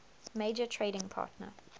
major trading partner